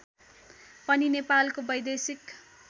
पनि नेपालको वैदेशिक